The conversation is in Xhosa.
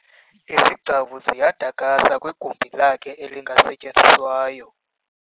Izigcawu ziyadakasa kwigumbi lakhe elingasetyenziswayo.